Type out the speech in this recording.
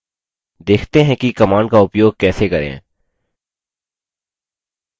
देखते हैं कि command का उपयोग कैसे करें